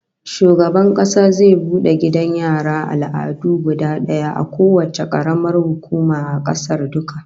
Shugaban Kasa zai bude gidan raya al'adu guda daya a kowacce karamar hukuma a kasar duka